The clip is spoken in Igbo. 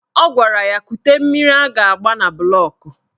Ọ gwara ya kute mmiri a ga-agba na bụlọk